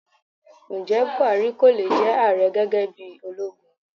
Ǹjẹ́ Bùhárí kọ́ ló jẹ ààrẹ gẹ́gẹ́ bí ológun?